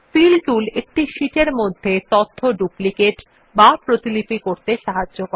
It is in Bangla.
ফিল টুল একটি শীট এর মধ্যে তথ্য ডুপ্লিকেট বা প্রতিলিপি করতে সাহায্য করে